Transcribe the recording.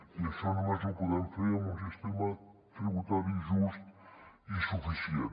i això només ho podem fer amb un sistema tributari just i suficient